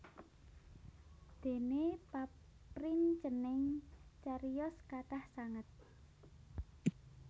Déné paprincening cariyos kathah sanget